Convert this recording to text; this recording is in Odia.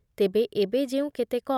ତେବେ ଏବେ ଯେଉଁ କେତେକ